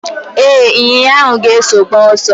Ee, ịnyinya ahụ ga-eso gbaa ọsọ.